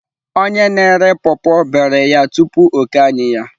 Onye na-ere paw paw iberi ya tupu o kee anyị ya.